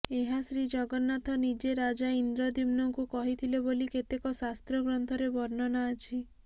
ଏହା ଶ୍ରୀଜଗନ୍ନାଥ ନିଜେ ରାଜା ଇନ୍ଦ୍ରଦ୍ୟୁମ୍ନଙ୍କୁ କହିଥିଲେ ବୋଲି କେତେକ ଶାସ୍ତ୍ର ଗ୍ରନ୍ଥରେ ବର୍ଣ୍ଣନା ଅଛି